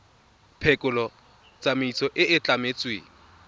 phekolo tsamaiso e e tlametsweng